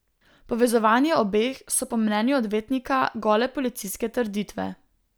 Povezovanje obeh so po mnenju odvetnika gole policijske trditve.